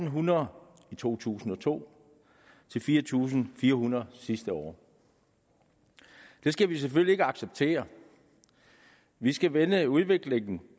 hundrede i to tusind og to til fire tusind fire hundrede sidste år det skal vi selvfølgelig ikke acceptere vi skal vende udviklingen